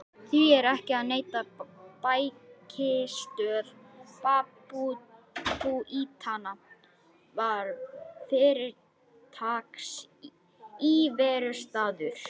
Því er ekki að neita: bækistöð babúítanna var fyrirtaks íverustaður.